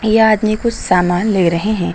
ये आदमी कुछ सामान ले रहे हैं।